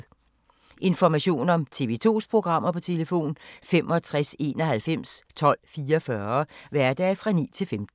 Information om TV 2's programmer: 65 91 12 44, hverdage 9-15.